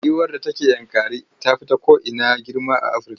Giwar da take Yankari ta fi ko ina girma a Afirka.